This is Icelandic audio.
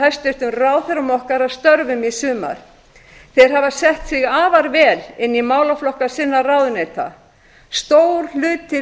hæstvirtum ráðherrum okkar að störfum í sumar þeir hafa sett sig afar vel inn í málaflokka sinna ráðuneyta stór hluti